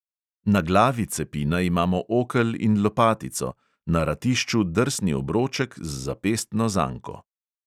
Na glavi cepina imamo okel in lopatico, na ratišču drsni obroček z zapestno zanko.